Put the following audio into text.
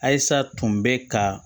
Ayisa tun bɛ ka